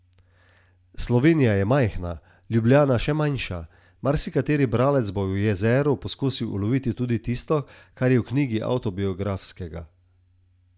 Slovenija je majhna, Ljubljana še manjša, marsikateri bralec bo v Jezeru poskusil uloviti tudi tisto, kar je v knjigi avtobiografskega.